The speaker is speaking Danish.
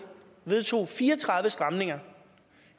vedtog fire og tredive stramninger